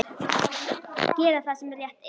Gera það sem rétt er.